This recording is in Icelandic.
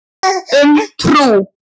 Um trú.